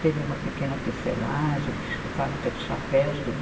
Teve uma pequena tecelagem, fábrica de chapéus, tudo.